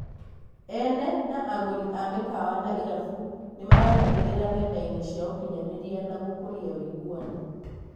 Ene na agũri a mĩkawa na irabu nĩmaranagĩria nendaĩnĩ cia ũkinyanĩria na gũkũria wĩiguano.